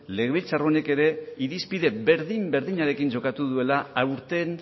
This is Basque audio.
legebiltzar honek ere irizpide berdin berdinarekin jokatu duela aurten